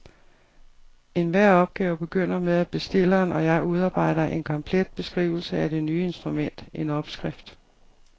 Enhver opgave begynder med, at bestilleren og jeg udarbejder en komplet beskrivelse af det nye instrument, en opskrift.